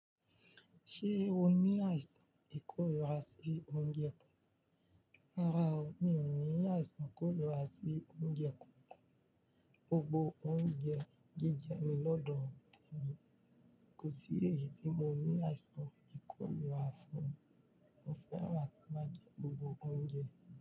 Ṣé o ní àìsàn ìkórira sí oúnjẹ kankan? Rárá o, mi ò ní àìsàn ìkórira sí oúnjẹ kankan. Gbogbo oúnjẹ jíjẹ ni lọ́dọ̀ te mi. Kò sí èyí tí mo ní àìsàn ìkórira fún. Mo fẹ́ràn a tí máa jẹ gbogbo oúnjẹ.